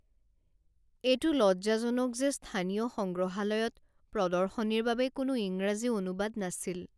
এইটো লজ্জাজনক যে স্থানীয় সংগ্ৰহালয়ত প্ৰদৰ্শনীৰ বাবে কোনো ইংৰাজী অনুবাদ নাছিল।